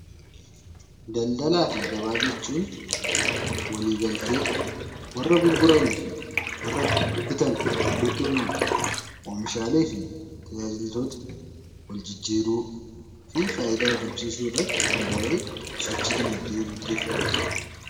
Daldalaa fi gabaa jechuun walii galtee warra gurguranii fi warra bitan gidduutti uumamu oomishaalee fi tajaajiloota wal jijjiiruu fi fayidaa argamsiisuu irratti gahee sochii dinagdee gaggeeffamudha.